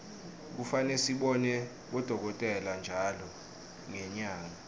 kufane sibone bodokotela ntjalo ngenyanga